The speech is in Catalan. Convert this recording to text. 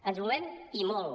ens movem i molt